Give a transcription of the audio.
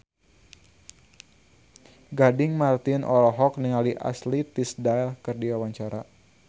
Gading Marten olohok ningali Ashley Tisdale keur diwawancara